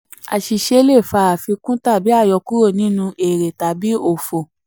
àṣìṣe le fa àfikún tàbí um àyọkúrò nínú èrè/òfò.